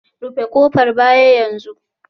Rufe kofar baya yanzu